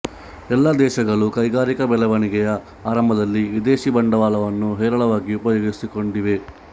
ಎಲ್ಲ ದೇಶಗಳೂ ಕೈಗಾರಿಕಾ ಬೆಳೆವಣಿಗೆಯ ಆರಂಭದಲ್ಲಿ ವಿದೇಶಿ ಬಂಡವಾಳವನ್ನು ಹೇರಳವಾಗಿ ಉಪಯೋಗಿಸಿಕೊಂಡಿವೆ